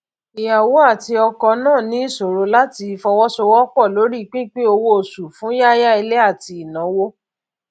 ìyàwó àti ọkọ náà ní ìṣòro láti fọwọsowọpọ lórí pípin owó oṣù fún yáya ilé àti ìnáwó